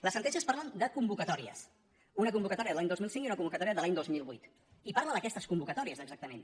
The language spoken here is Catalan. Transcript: les sentències parlen de convocatòries una convocatòria de l’any dos mil cinc i una convocatòria de l’any dos mil vuit i parla d’aquestes convocatòries exacta·ment